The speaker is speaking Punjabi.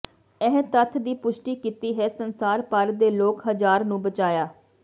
ਇਹ ਤੱਥ ਦੀ ਪੁਸ਼ਟੀ ਕੀਤੀ ਹੈ ਸੰਸਾਰ ਭਰ ਦੇ ਲੋਕ ਹਜ਼ਾਰ ਨੂੰ ਬਚਾਇਆ